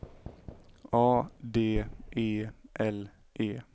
A D E L E